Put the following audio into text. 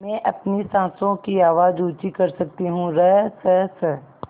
मैं अपनी साँसों की आवाज़ ऊँची कर सकती हूँ रसस